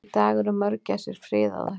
Í dag eru mörgæsir friðaðar.